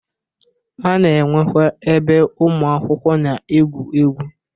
A na-enwekwe ebe ụmụ akwụkwọ na-egwu egwu.